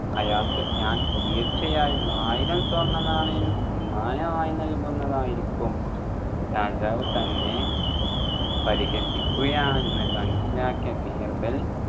അയാൾക്ക് ഞാൻ തീർച്ചയായും ആയിരം സ്വർണ്ണനായണം സമ്മാനമായി നൽകുന്നതായിരിക്കും രാജാവ് തന്നെ പരിഹസിക്കുകയാണെന്ന് മനസിലാക്കിയ ബീർബൽ